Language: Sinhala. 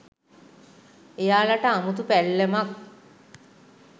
එයාලට අමුතු පැල්ලමක්